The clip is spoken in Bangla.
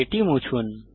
এটি মুছুন